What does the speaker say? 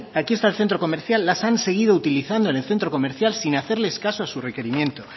aquí está el centro comercial las han seguido utilizando en el centro comercial sin hacerles caso a su requerimiento